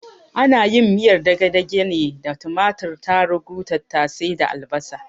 Ana yin miyar dagedage ne da tumatur, tarugu, tattase da albasa